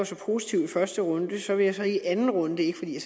så positiv i første runde så vil jeg i anden runde ikke fordi